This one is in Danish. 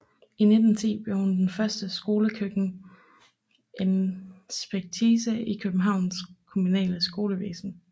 I 1910 blev hun den første skolekøkkeninspektrice i Københavns kommunale skolevæsen